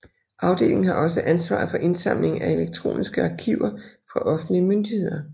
Afdelingen har også ansvaret for indsamling af elektroniske arkiver fra offentlige myndigheder